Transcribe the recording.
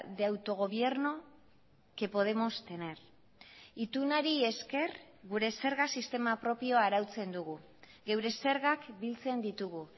de autogobierno que podemos tener itunari esker gure zerga sistema propioa arautzen dugu geure zergak biltzen ditugu